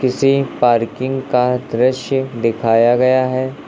किसी पार्किंग का दृश्य दिखाया गया है।